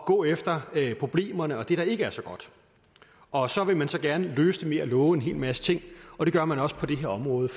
gå efter problemerne og det der ikke er så godt og så vil man så gerne løse dem ved at love en hel masse ting og det gør man også på det her område